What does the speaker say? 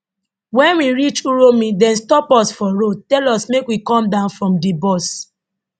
wen we reach uromi dem stop us for road tell us make we come down from di bus